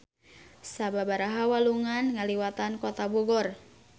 Sababaraha walungan ngaliwatan Kota Bogor.